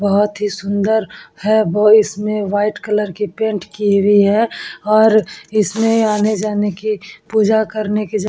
बोहोत ही सुंदर है और इसमें व्हाइट कलर की पेंट की हुई है और इसमें आने जाने की पूजा करने की जग--